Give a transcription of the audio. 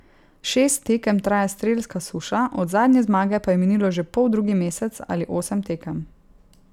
Šest tekem traja strelska suša, od zadnje zmage pa je minilo že poldrugi mesec ali osem tekem.